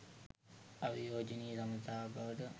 අවියෝජනීය සබඳතාවක් බව